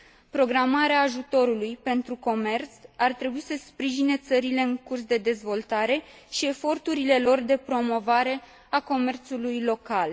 Programarea ajutorului pentru comerț ar trebui să sprijine țările în curs de dezvoltare și eforturile lor de promovare a comerțului local.